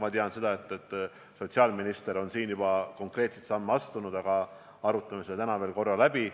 Ma tean, et sotsiaalminister on juba konkreetseid samme astunud, aga me arutame selle täna veel korra läbi.